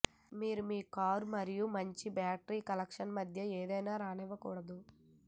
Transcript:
మీరు మీ కారు మరియు మంచి బ్యాటరీ కనెక్షన్ మధ్య ఏదైనా రానివ్వకూడదు